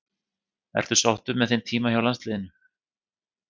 Ertu sáttur með þinn tíma hjá landsliðinu?